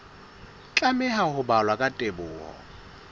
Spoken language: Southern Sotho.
tlameha ho balwa ka botebo